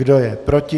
Kdo je proti?